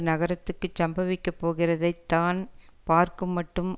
நகரத்துக்குச் சம்பவிக்கப்போகிறதைத் தான் பார்க்குமட்டும்